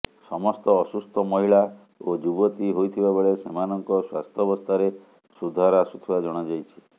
ସମସ୍ତ ଅସୁସ୍ଥ ମହିଳା ଓ ଯୁବତୀ ହୋଇଥିବା ବେଳେ ସେମାନଙ୍କ ସ୍ୱାସ୍ଥ୍ୟବସ୍ଥାରେ ସୁଧାର ଆସୁଥିବା ଜଣାଯାଇଛି